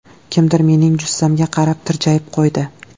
Kimdir mening jussamga qarab tirjayib qo‘ydi.